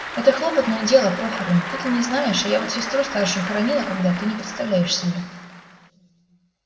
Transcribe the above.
это хлопотное дело похороны ты-то не знаешь а я вот сестру старшую хоронила когда ты не представляешь себе